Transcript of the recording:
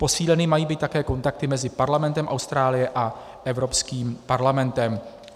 Posíleny mají být také kontakty mezi parlamentem Austrálie a Evropským parlamentem.